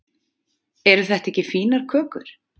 eru þetta ekki fínar kökur